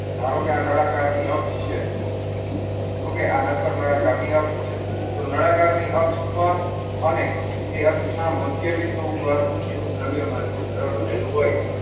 ધારો કે નળાકારની અક્ષ છે. okay આ નક્કર નળાકારની અક્ષ છે. તો નળાકારની અક્ષ પર અને એ અક્ષ ના મધ્યબિંદુ ઉપર એનું દ્રવ્યમાન કેન્દ્ર રહેલું હોય.